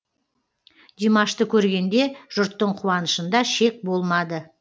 димашты көргенде жұрттың қуанышында шек болмады